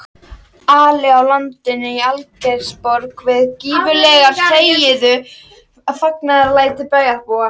Ali á land í Algeirsborg við gífurleg fagnaðarlæti bæjarbúa.